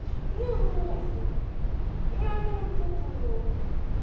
мне грустно мне анину попу жалко